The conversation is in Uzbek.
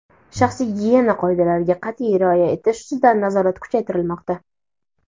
shaxsiy gigiyena qoidalariga qat’iy rioya etish ustidan nazorat kuchaytirilmoqda.